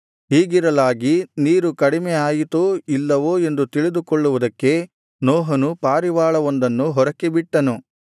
ಹೀಗಿರಲಾಗಿ ನೀರು ಕಡಿಮೆ ಆಯಿತೋ ಇಲ್ಲವೋ ಎಂದು ತಿಳಿದುಕೊಳ್ಳುವುದಕ್ಕೆ ನೋಹನು ಪಾರಿವಾಳವೊಂದನ್ನು ಹೊರಕ್ಕೆ ಬಿಟ್ಟನು